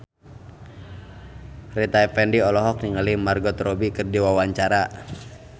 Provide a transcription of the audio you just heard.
Rita Effendy olohok ningali Margot Robbie keur diwawancara